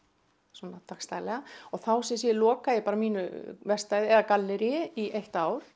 svona dagsdaglega og þá sem sé loka ég bara mínu verkstæði eða galleríi í eitt ár